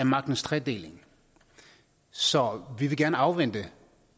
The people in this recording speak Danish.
magtens tredeling så vi vil gerne afvente